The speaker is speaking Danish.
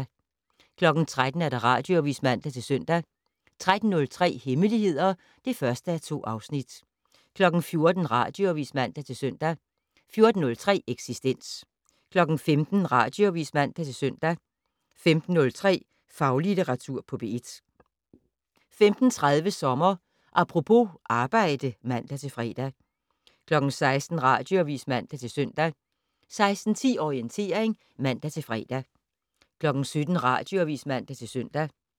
13:00: Radioavis (man-søn) 13:03: Hemmeligheder (1:2) 14:00: Radioavis (man-søn) 14:03: Eksistens 15:00: Radioavis (man-søn) 15:03: Faglitteratur på P1 15:30: Sommer Apropos - arbejde (man-fre) 16:00: Radioavis (man-søn) 16:10: Orientering (man-fre) 17:00: Radioavis (man-søn)